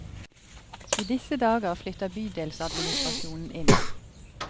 I disse dager flytter bydelsadministrasjonen inn.